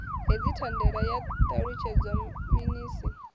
hedzi thandela ya ṱalutshedzwa minis